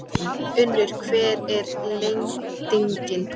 Unnur, hver er lendingin?